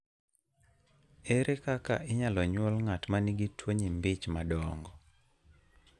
Ere kaka inyalo nyuol ng'at ma nigi tuwo nyimbi ich madongo?